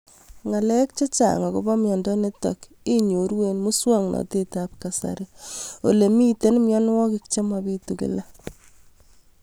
Ng'alek chechang' akopo miondo nitok inyoru eng' muswog'natet ab kasari ole mito mianwek che mapitu kila